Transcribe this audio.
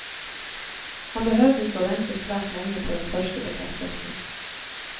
Han behøvde ikke vente svært lenge på den første bekreftelsen.